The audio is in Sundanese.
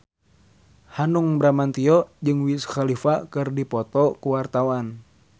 Hanung Bramantyo jeung Wiz Khalifa keur dipoto ku wartawan